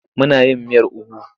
Muna yin miyar ugu.